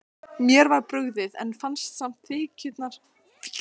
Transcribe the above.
Mér var brugðið, en fann samt þykkjuna læsast um mig.